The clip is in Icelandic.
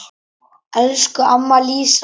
Elsku amma Lísa.